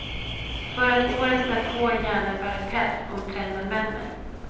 För att året därpå gärna bära päls om trenden vänder.